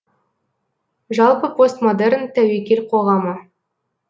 жалпы постмодерн тәуекел қоғамы